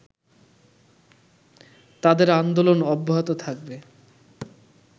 তাদের আন্দোলন অব্যাহত থাকবে